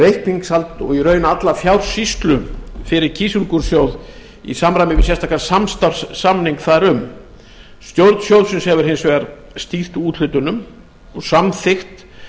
reikningshald og í raun alla fjársýslu fyrir kísilgúrsjóð í samræmi við sérstakan samstarfssamning þar um stjórn sjóðsins hefur hins vegar stýrt úthlutunum og samþykkt